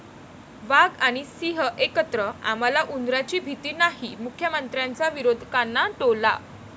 वाघ आणि सिंह एकत्र, आम्हाला उंदरांची भीती नाही, मुख्यमंत्र्यांचा विरोधकांना टोला